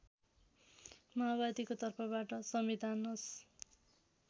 माओवादीको तर्फबाट संविधानस